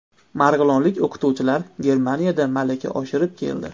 Marg‘ilonlik o‘qituvchilar Germaniyada malaka oshirib keldi.